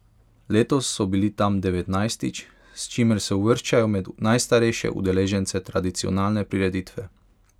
Letos so bili tam devetnajstič, s čimer se uvrščajo med najstarejše udeležence tradicionalne prireditve.